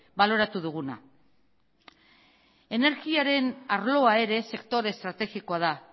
baloratu duguna energiaren arloa ere sektore estrategikoa da